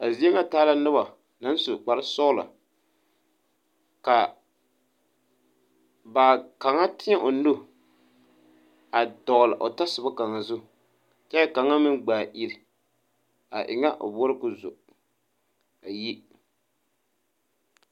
A zeɛ nga taala nuba nang su kpare sɔglo ka ba kanga teẽ ɔ nu a dɔgli ba tɔsoba kanga zu kye kanga meng gbaa ire a enga ɔ boɔra kuo zo a yi.